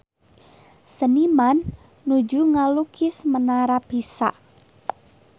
Seniman nuju ngalukis Menara Pisa